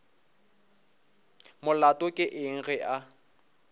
molato ke eng ge a